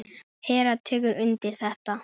Hera tekur undir þetta.